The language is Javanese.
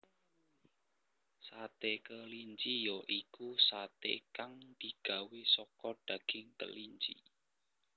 Sate kelinci ya iku satè kang digawé saka daging kelinci